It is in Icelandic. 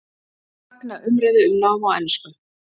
Fagna umræðu um nám á ensku